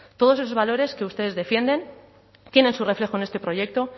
todos esos valores que ustedes defienden tienen su reflejo en este proyecto